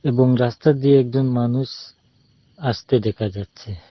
এবং রাস্তা দিয়ে একজন মানুষ আস্তে দেখা যাচ্ছে।